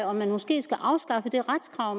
om vi måske skulle afskaffe det retskrav